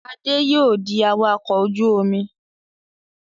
Adé yóò di awakọ̀ ojú-omi.